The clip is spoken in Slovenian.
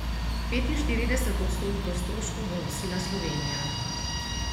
Petinštirideset odstotkov stroškov bo nosila Slovenija.